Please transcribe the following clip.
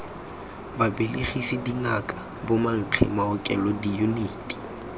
babelegisi dingaka bomankge maokelo diyuniti